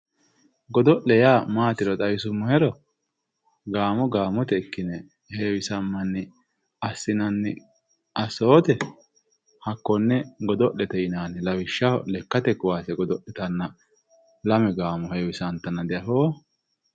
Godo'le yaa maatiro xawisuummohero gaamo gaamote ikkine heewisamanni assinanni assote hakkone godo'lete yinanni lawishshaho lekkate kaase godo'littanna lame gaamo heewisattanna diafootto.